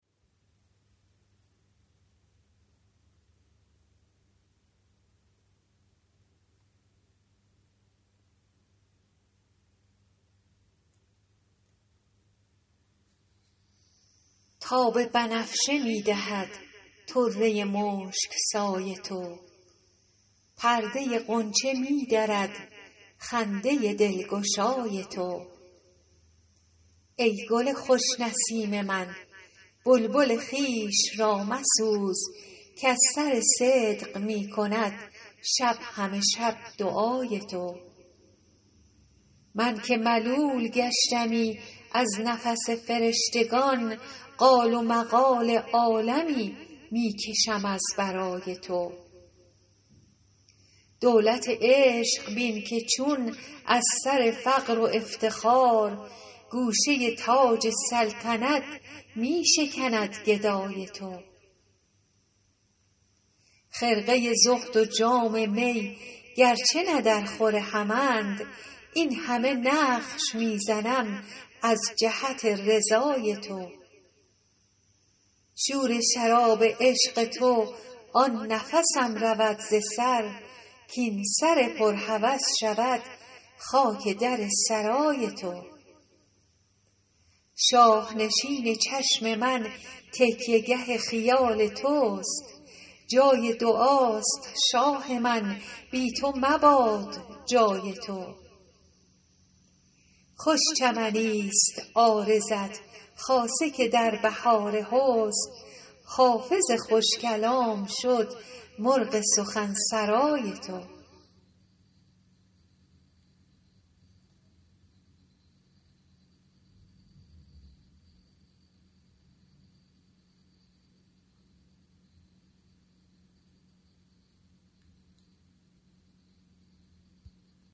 تاب بنفشه می دهد طره مشک سای تو پرده غنچه می درد خنده دلگشای تو ای گل خوش نسیم من بلبل خویش را مسوز کز سر صدق می کند شب همه شب دعای تو من که ملول گشتمی از نفس فرشتگان قال و مقال عالمی می کشم از برای تو دولت عشق بین که چون از سر فقر و افتخار گوشه تاج سلطنت می شکند گدای تو خرقه زهد و جام می گرچه نه درخور همند این همه نقش می زنم از جهت رضای تو شور شراب عشق تو آن نفسم رود ز سر کاین سر پر هوس شود خاک در سرای تو شاه نشین چشم من تکیه گه خیال توست جای دعاست شاه من بی تو مباد جای تو خوش چمنیست عارضت خاصه که در بهار حسن حافظ خوش کلام شد مرغ سخن سرای تو